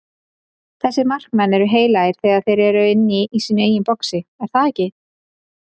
Þessir markmenn eru heilagir þegar þeir eru inni í sínu eigin boxi, er það ekki?